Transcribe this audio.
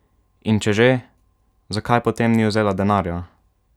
In če že, zakaj potem ni vzela denarja?